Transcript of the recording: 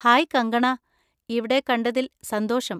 Hi Kangana, ഇവിടെ കണ്ടതിൽ സന്തോഷം.